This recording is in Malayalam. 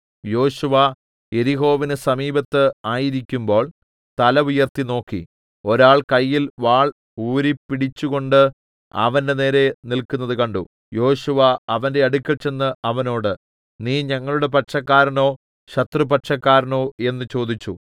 യോശുവ യെരിഹോവിന് സമീപത്ത് ആയിരിക്കുമ്പോൾ തല ഉയർത്തിനോക്കി ഒരാൾ കയ്യിൽ വാൾ ഊരിപ്പിടിച്ചുകൊണ്ട് അവന്റെനേരെ നില്ക്കുന്നത് കണ്ടു യോശുവ അവന്റെ അടുക്കൽ ചെന്ന് അവനോട് നീ ഞങ്ങളുടെ പക്ഷക്കാരനോ ശത്രുപക്ഷക്കാരനോ എന്ന് ചോദിച്ചു